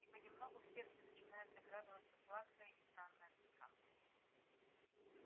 и понемногу в сердце начинает закрадываться сладкая и странная тоска